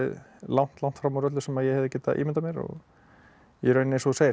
langt langt fram úr öllu sem ég hefði getað ímyndað mér í rauninni eins og þú segir þetta